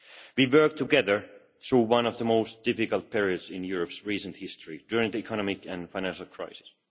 We worked together through one of the most difficult periods in Europe's recent history, during the economic and financial crisis.